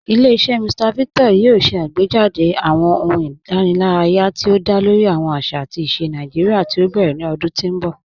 Ilẹ̀-iṣẹ Mr Victor yoo ṣè àgbéjádé̀ awọn ọ̀hùn ìdànìláraya ti o dá lórí awọn àṣà àti àṣà Naijiria ti o bẹrẹ̀ ni ọ̀dún ti n bọ̀.